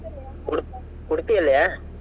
Udu~ Udupi ಯಲ್ಲಿಯ?